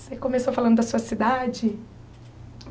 Você começou falando da sua cidade?